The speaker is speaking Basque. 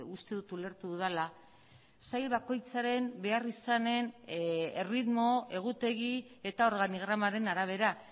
uste dut ulertu dudala sail bakoitzaren beharrizanen erritmo egutegi eta organigramaren arabera